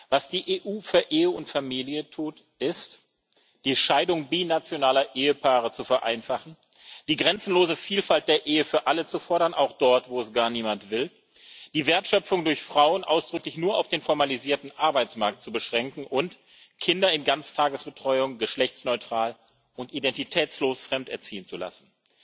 Was die EU für Ehe und Familie tut, ist, die Scheidung binationaler Ehepaare zu vereinfachen, die grenzenlose Vielfalt der Ehe für alle zu fordern, auch dort, wo es gar niemand will, die Wertschöpfung durch Frauen ausdrücklich nur auf den formalisierten Arbeitsmarkt zu beschränken und Kinder in Ganztagesbetreuung geschlechtsneutral und identitätslos fremderziehen zu lassen.